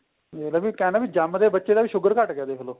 ਦੇਖ ਲੋ ਵੀ ਕਹਿ ਲੋ ਵੀ ਜਮਦੇ ਬੱਚੇ ਦਾ ਵੀ sugar ਘੱਟ ਗਿਆ ਦੇਖਲੋ